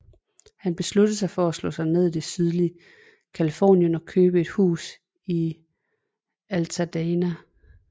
Han besluttede at slå sig ned i det sydlige California og købte et hus i Altadena